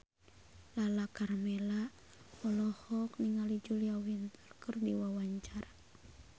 Lala Karmela olohok ningali Julia Winter keur diwawancara